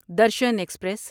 Darshan express